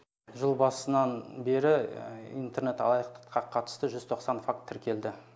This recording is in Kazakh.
жыл басынан бері интернет алаяқтыққа қатысты жүз тоқсан факт тіркелді